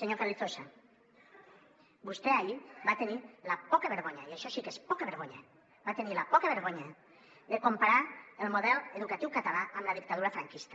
senyor carrizosa vostè ahir va tenir la poca vergonya i això sí que és poca vergonya de comparar el model educatiu català amb la dictadura franquista